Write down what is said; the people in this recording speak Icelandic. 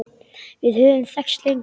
Við höfum þekkst lengi.